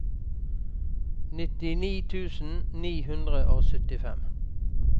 nittini tusen ni hundre og syttifem